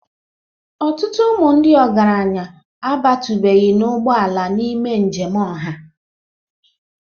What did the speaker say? Ọtụtụ ụmụ ndị ọgaranya abatụbeghị n'ụgbọ ala ime njem ọha.